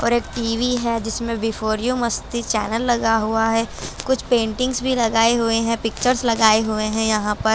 और एक TV है जिसमें बी फोर यू मस्ती चैनल लगा हुआ है कुछ पेंटिंग भी लगाए हुए हैं पिक्चर्स लगाए हुए हैं यहां पर--